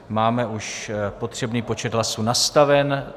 Máme už potřebný počet hlasů nastaven.